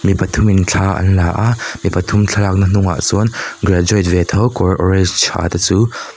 mi pathum in thla an la a mi pathum thla lakna hnungah chuan graduate ve tho kawr orange ha te chu--